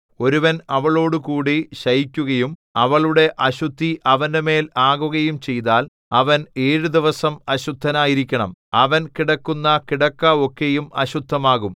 ഒരുവൻ അവളോടുകൂടി ശയിക്കുകയും അവളുടെ അശുദ്ധി അവന്റെമേൽ ആകുകയും ചെയ്താൽ അവൻ ഏഴു ദിവസം അശുദ്ധനായിരിക്കണം അവൻ കിടക്കുന്ന കിടക്ക ഒക്കെയും അശുദ്ധമാകും